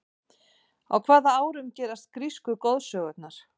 á hvaða árum gerast grísku goðsögurnar